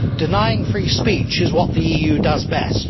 Denying free speech is what the EU does best!